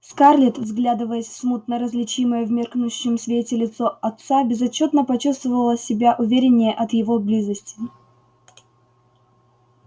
скарлетт вглядываясь в смутно различимое в меркнущем свете лицо отца безотчётно почувствовала себя увереннее от его близости